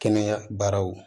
Kɛnɛya baaraw